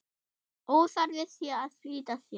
Óþarfi sé að flýta sér.